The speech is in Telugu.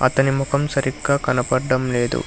అతని ముఖం సరిగ్గా కనపడ్డం లేదు.